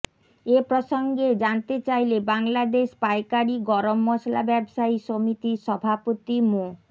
এ প্রসঙ্গে জানতে চাইলে বাংলাদেশ পাইকারি গরম মসলা ব্যবসায়ী সমিতির সভাপতি মো